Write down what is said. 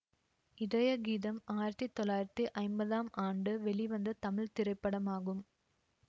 இதய கீதம் ஆயிரத்தி தொள்ளாயிரத்தி ஐம்பதாம் ஆண்டு வெளிவந்த தமிழ் திரைப்படமாகும்